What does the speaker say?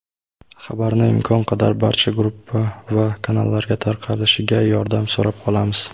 Xabarni imkon qadar barcha gruppa va kanallarga tarqalishiga yordam so‘rab qolamiz.